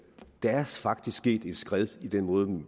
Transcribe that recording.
der faktisk er sket et skred i den måde